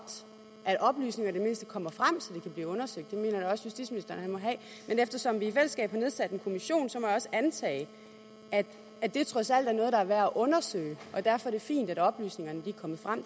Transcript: at oplysningerne i det mindste kommer frem så det kan blive undersøgt og eftersom vi i fællesskab har nedsat en kommission må jeg også antage at det trods alt er noget der er værd at undersøge og derfor er det fint at oplysningerne er kommet frem